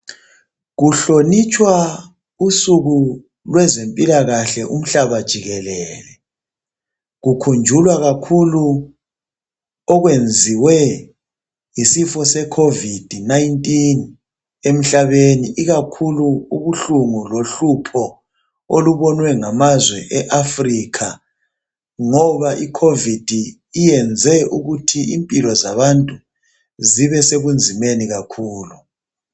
Kuhlonitshwa usuku lwezempila kahle umhlaba jikelele kukhunjulwa kakhulu okwenziwe yisifo sekhovidi nayintini emhlaneni ikakhulu ubuhlungu lohlupho olubonwe ngamazwe e afrikha ngoba ikhovithi iyenze ukuthi impilo zabantu zibe sebunzimeni kakhulu